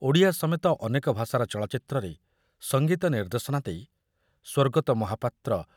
ଓଡ଼ିଆ ସମେତ ଅନେକ ଭାଷାର ଚଳଚ୍ଚିତ୍ରରେ ସଙ୍ଗୀତ ନିର୍ଦ୍ଦେଶନା ଦେଇ ସ୍ବର୍ଗତ ମହାପାତ୍ର